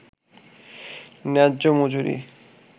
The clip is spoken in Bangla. ন্যায্য মজুরি